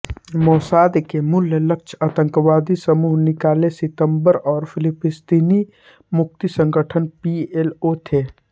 Mossad के मूल लक्ष्य आतंकवादी समूह काले सितंबर और फिलीस्तीनी मुक्ति संगठन पीएलओ थे